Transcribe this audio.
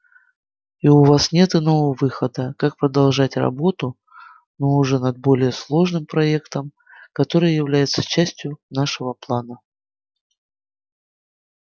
и у вас нет иного выхода как продолжать работу но уже над более сложным проектом который является частью нашего плана